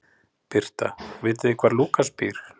Birta: Vitið þið hvar Lúkas býr?